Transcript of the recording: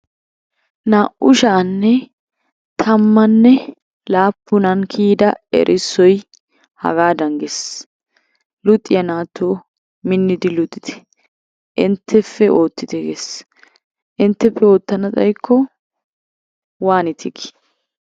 Naa'u sha'anne tammanne laapunan kiyida erissoyi hagaadan ges luxiya naatoo minnidi luxite intteppe oottite ges. Intteppe oottana xaykko waanite gii?